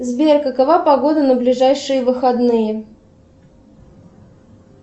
сбер какова погода на ближайшие выходные